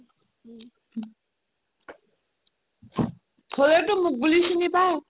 হ'লেওটো মোক বুলি চিনি পাই